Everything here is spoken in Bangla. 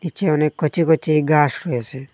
নীচে অনেক কচি কচি ঘাস রয়েসে।